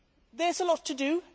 at. There is a lot to